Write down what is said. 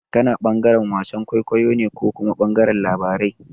Kana ɓangaren wasan kwaikwayo ne ko kuma ɓangaren labarai?